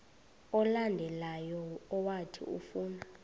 olandelayo owathi ufuna